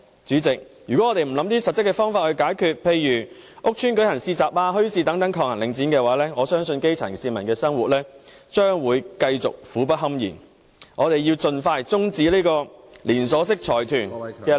主席，如果我們不找一些實質方法來解決，例如在屋邨設立市集、墟市等來抗衡領展，我相信基層市民的生活將會繼續苦不堪言，因此我們須盡快終止這個連銷式財團的壟斷。